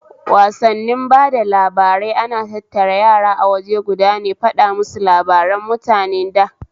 Wassani bada labarai ana tattara yara awaje guda ne faɗamusu labaran mutanen da